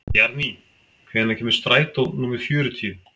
Bjarný, hvenær kemur strætó númer fjörutíu?